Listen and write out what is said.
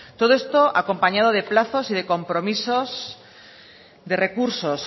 todo esto acompañado de plazos y de compromisos de recursos